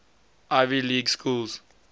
ivy league schools